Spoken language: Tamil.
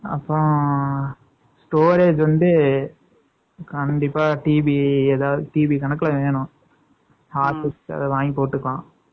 அப்புறம், storage வந்து, கண்டிப்பா, TV , ஏதாவது, TV கணக்குல வேணும். Harddisk , அதை, வாங்கிப் போட்டுக்கலாம்